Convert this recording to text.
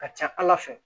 Ka ca ala fɛ